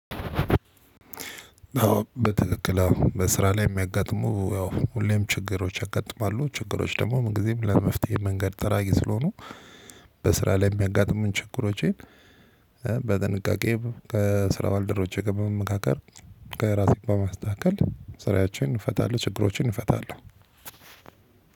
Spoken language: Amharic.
በትክክል በስራ ላይ የሚያጋጥሙ ያው ሁሌም ችግሮች ያጋጥማሉ ችግሮች ደግሞ ምንጊዜም ለመፍትሄ መንገድ ጠራጊ ስለሆኑ። በስራ ላይ የሚያጋጥሙን ችግሮቼን። በጥንቃቄ ከስራ ባልደሮቦቼቼ ጋር በመመካከር። ከራሴ በመስተካከል ስራያችንን እንፈታለን ችግሮችን እንፈታለን።